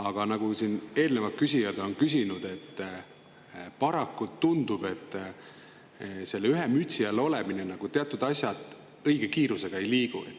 Aga nagu siin eelnevalt on, paraku tundub, et selle ühe mütsi all olemise korral teatud asjad ei liigu õige kiirusega.